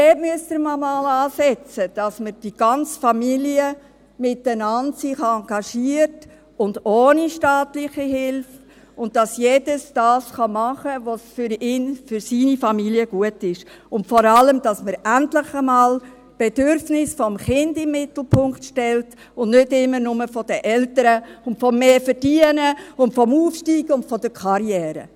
Dort müsste man mal ansetzen, sodass sich die ganze Familie gemeinsam engagiert, ohne staatliche Hilfe, und alle das tun können, was für ihre Familie gut ist, und vor allem, damit wir endlich mal die Bedürfnisse des Kindes in den Mittelpunkt stellen und nicht immer nur jene der Eltern, des Mehr-Verdienens, des Aufsteigens und der Karriere.